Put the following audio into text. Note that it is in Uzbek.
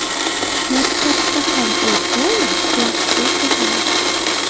Maktabda ham u doim yaxshi o‘qigan.